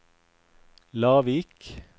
Lavik